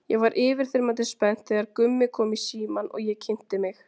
Ég var yfirþyrmandi spennt þegar Gummi kom í símann og ég kynnti mig.